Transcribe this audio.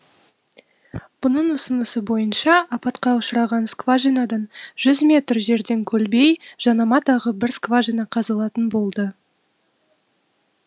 бұның ұсынысы бойынша апатқа ұшыраған скважинадан жүз метр жерден көлбей жанама тағы бір скважина қазылатын болды